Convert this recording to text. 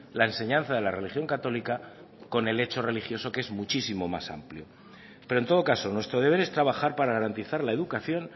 la enseñanza de la religión católica con el hecho religioso que es muchísimo más amplio pero en todo caso nuestro deber es trabajar para garantizar la educación